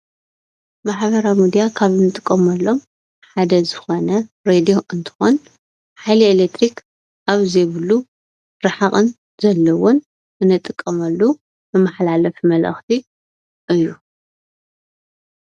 ማሕበራዊ ምድያ ካብ እንጥቀመሎም ሓደ ዝኾነ ሬድዮ እንትኾን ሓይሊ ኤሌክትሪከ ኣብ ዘይብሉ ራሕቂ ዘለዎን አንጥቀመሉ መማሓላፊ መልእክቲ እዩ፡፡